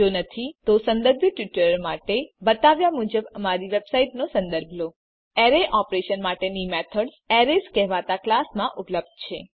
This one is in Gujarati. જો નથી તો સંદર્ભિત ટ્યુટોરીયલ માટે બતાવ્યા મુજબ અમારી વેબસાઈટનો સંદર્ભ લો httpspoken tutorialorg એરે ઓપરેશન માટેની મેથડ્સ એરેઝ કહેવાતા ક્લાસ માં ઉપલબ્ધ છે